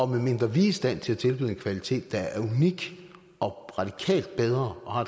medmindre vi er i stand til at tilbyde en kvalitet der er unik og radikalt bedre og